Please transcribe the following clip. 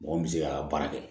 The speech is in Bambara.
Mɔgɔ min bɛ se ka baara kɛ